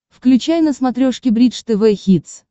включай на смотрешке бридж тв хитс